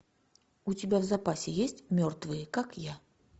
у тебя в запасе есть мертвые как я